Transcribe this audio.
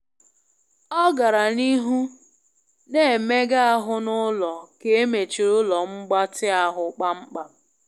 Ọ gara n'ihu na-emega ahụ n'ụlọ ka emechiri ụlọ mgbatị ahụ kpamkpam.